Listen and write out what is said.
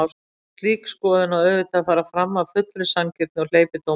En slík skoðun á auðvitað að fara fram af fullri sanngirni og hleypidómalaust.